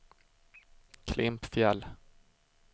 Klimpfjäll